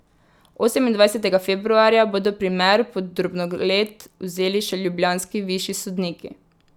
Osemindvajsetega februarja bodo primer pod drobnogled vzeli še ljubljanski višji sodniki.